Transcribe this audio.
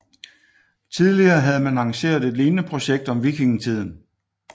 Tidligere havde man arrangeret et lignende projekt om vikingetiden